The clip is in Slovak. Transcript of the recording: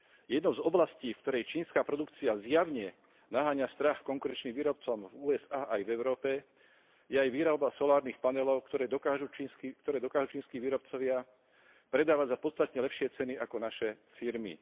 Jednou z oblastí, v ktorej čínska produkcia zjavne naháňa strach konkurenčným výrobcom v USA aj v Európe, je aj výroba solárnych panelov, ktoré dokážu čínski výrobcovia predávať za podstatne lepšie ceny ako naše firmy.